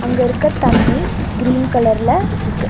அங்க இருக்க தண்ணி கிரீன் கலர்ல இருக்கு.